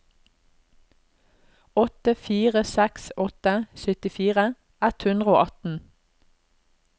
åtte fire seks åtte syttifire ett hundre og atten